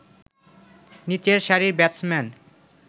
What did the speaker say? নীচের সারির ব্যাটসম্যান